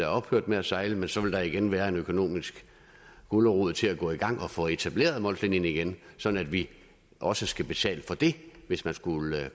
ophørt med at sejle men så ville der igen være en økonomisk gulerod til at gå i gang og få etableret mols linien igen sådan at vi også skulle betale for det hvis man skulle